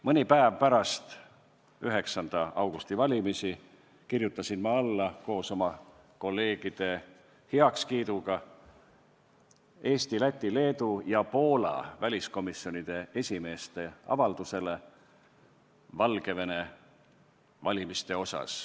Mõni päev pärast 9. augusti valimisi kirjutasin ma kolleegide heakskiidul alla Eesti, Läti, Leedu ja Poola väliskomisjonide esimeeste avaldusele Valgevene valimiste kohta.